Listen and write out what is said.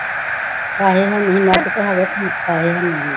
ਪੈਸੇ ਹੈ ਨੀ ਸੀ net ਤਾਂ ਹੈਗਾ ਸੀ ਪੈਸੇ ਹੈ ਨੀ ਸੀ